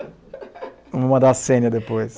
Vamos mandar a Sênia depois.